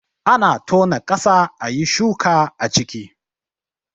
Ana tona ƙasa ayi shuka a ciki